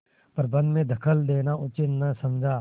प्रबंध में दखल देना उचित न समझा